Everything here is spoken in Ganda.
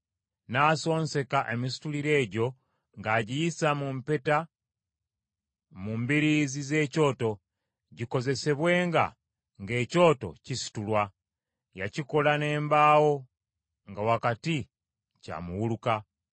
N’asonseka emisituliro egyo ng’agiyisa mu mpeta mu mbiriizi z’ekyoto, gikozesebwenga ng’ekyoto kisitulwa. Yakikola n’embaawo nga wakati kya muwulukwa.